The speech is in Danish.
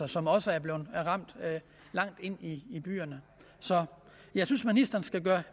som også er blevet ramt langt inde i byerne så jeg synes ministeren skal gøre